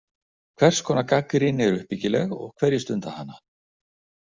Hvers konar gagnrýni er uppbyggileg og hverjir stunda hana?